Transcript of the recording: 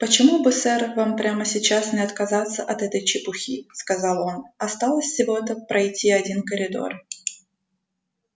почему бы сэр вам прямо сейчас не отказаться от этой чепухи сказал он осталось всего-то пройти один коридор